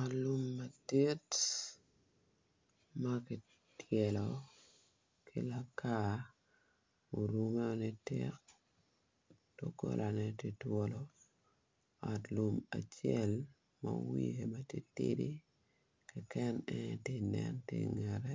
Ot lum madit ma kityelo ki lakar orumeo nitik dogolane tye twolo ot lum acel ma wiye bene titidi keken en aye ti nen ki ingete